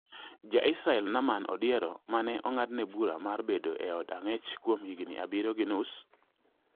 Ja-Israel Namaan Odiero, ma ne ong’adne bura mar bedo e od ang'ech kuom higni abiriyo gi nus